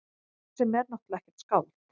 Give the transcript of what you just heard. Sem er náttúrlega ekkert skáld.